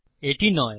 এটি নয়